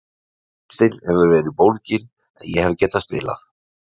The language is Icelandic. Ristin hefur verið bólgin en ég hef getað spilað.